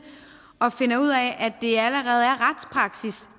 og finder ud af at